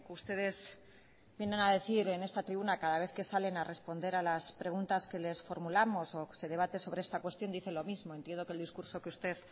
ustedes vienen a decir en esta tribuna cada vez que salen a responder a las preguntas que les formulamos o se debate sobre esta cuestión dice lo mismo entiendo que el discurso que usted